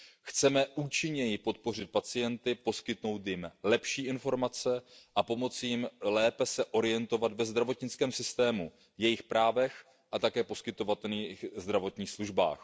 Chceme účinněji podpořit pacienty, poskytnout jim lepší informace a pomoci jim lépe se orientovat ve zdravotnickém systému, jejich právech a také v poskytovaných zdravotních službách.